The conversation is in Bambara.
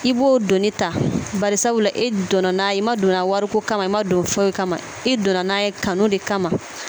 I b'o doni ta bari sabula e donna n'a ye i ma don wariko kama i ma don foyi kama i donna n'a ye kanu de kama